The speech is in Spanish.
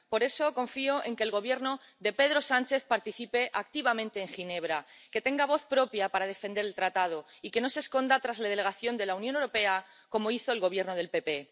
Por eso, confío en que el Gobierno de Pedro Sánchez participe activamente en Ginebra, que tenga voz propia para defender el tratado y que no se esconda tras la delegación de la Unión Europea, como hizo el Gobierno del PP.